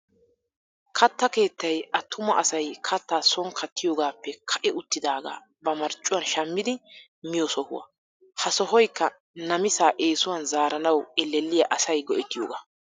Katta keettay attuma asay kattaa son kattiyoogaappe ka'i uttidaagaa ba marccuwan shammidi miyo sohuwa. Ha sohoyikka namisaa eesuwan zaaranawu ellelliya asay go'ettiyoogaa.